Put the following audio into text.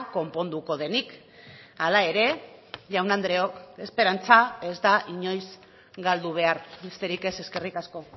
konponduko denik hala ere jaun andreok esperantza ez da inoiz galdu behar besterik ez eskerrik asko